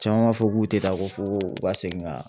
Caman b'a fɔ k'u tɛ taa ko fo u ka segin ka